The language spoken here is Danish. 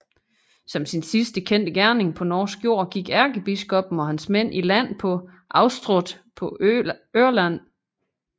Som sin sidste kendte gerning på norsk jord gik ærkebiskoppen og hans mænd i land på Austrått på Ørland